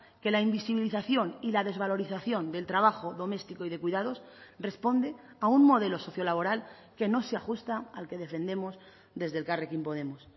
que la invisibilización y la desvalorización del trabajo doméstico y de cuidados responde a un modelo sociolaboral que no se ajusta al que defendemos desde elkarrekin podemos